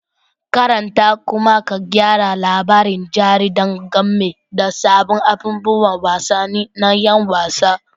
Karanta kuma ka gyara labarin jaridar game da sabbin abubuwan wasanni na 'yan wasa